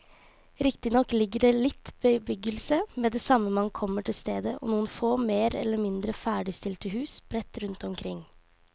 Riktignok ligger det litt bebyggelse med det samme man kommer til stedet og noen få mer eller mindre ferdigstilte hus sprett rundt omkring.